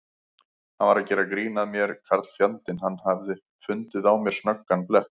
Hann var að gera grín að mér karlfjandinn, hann hafði fundið á mér snöggan blett.